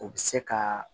O bɛ se ka